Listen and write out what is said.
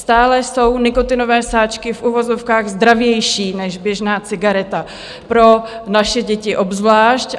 Stále jsou nikotinové sáčky v uvozovkách zdravější než běžná cigareta, pro naše děti obzvlášť.